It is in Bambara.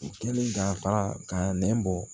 U kɛlen ka fara ka nɛn bɔ